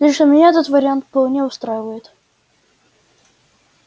лично меня этот вариант вполне устраивает